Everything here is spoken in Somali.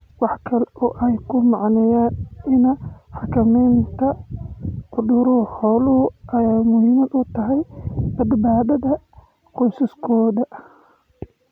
Waxa kale oo ay ku macneeyeen in xakamaynta cudurrada xooluhu ay muhiim u tahay badbaadada qoysaskooda.